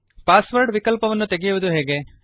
pass word ವಿಕಲ್ಪವನ್ನು ತೆಗೆಯುವುದು ಹೇಗೆ